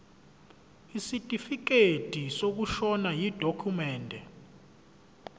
isitifikedi sokushona yidokhumende